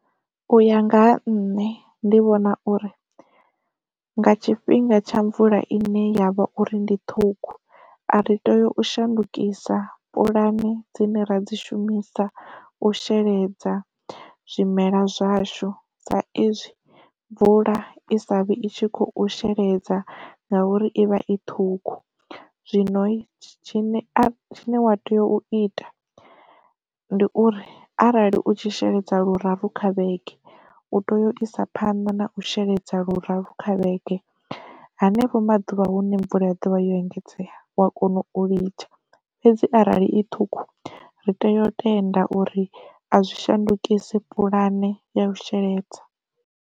U ya nga ha nṋe ndi vhona uri, nga tshifhinga tsha mvula ine yavha uri ndi ṱhukhu a ri tea u shandukisa pulani dzine ra dzi shumisa u sheledza zwimela zwashu sa izwi mvula i savhi i tshi khou sheledza ngauri ivha i ṱhukhu, zwino tshine wa tea u ita ndi uri arali u tshi sheledza luraru kha vhege u tea u isa phanḓa na u sheledza luraru kha vhege. Henefho maḓuvha hune mvula ya dovha ya engedzea wa kona u litsha fhedzi arali i ṱhukhu ri tea u tenda uri a zwi shandukisa puḽane ya u sheledza.